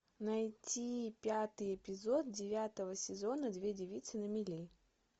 найти пятый эпизод девятого сезона две девицы на мели